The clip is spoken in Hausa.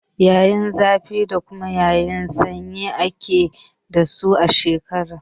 Yanayin zafi da kuma yanayin sanyi ake dasu a shekara.